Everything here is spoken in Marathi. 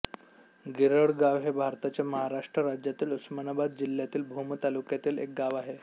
गिरळगाव हे भारताच्या महाराष्ट्र राज्यातील उस्मानाबाद जिल्ह्यातील भूम तालुक्यातील एक गाव आहे